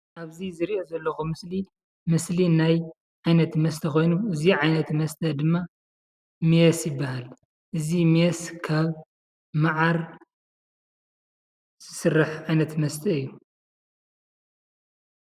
ኣብዚ ዝርእዬ ዘለኩ ምስሊ ምስሊ ናይ ዓይነት መስተ ኮይኑ እዚ ዓይነት መስተ ድማ ሜስ ይበሃል ። እዚ ሜስ ካብ መዓር ዝስራሕ ዓይነት መስተ እዩ ።